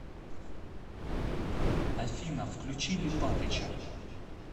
афина включи липатыча